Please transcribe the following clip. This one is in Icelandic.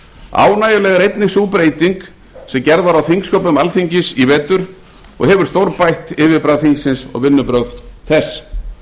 ánægjuleg er einnig sú breyting sem gerð var á þingsköpum alþingis í vetur og hefur stórbætt yfirbragð þingsins og vinnubrögð þess